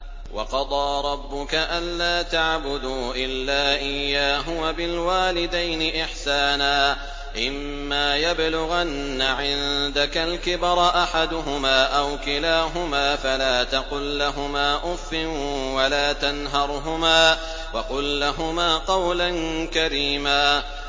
۞ وَقَضَىٰ رَبُّكَ أَلَّا تَعْبُدُوا إِلَّا إِيَّاهُ وَبِالْوَالِدَيْنِ إِحْسَانًا ۚ إِمَّا يَبْلُغَنَّ عِندَكَ الْكِبَرَ أَحَدُهُمَا أَوْ كِلَاهُمَا فَلَا تَقُل لَّهُمَا أُفٍّ وَلَا تَنْهَرْهُمَا وَقُل لَّهُمَا قَوْلًا كَرِيمًا